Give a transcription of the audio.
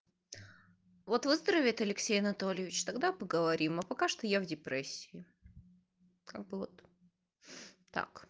вот выздоровеет алексей анатольевич тогда поговорим а пока что я в депрессии как бы вот так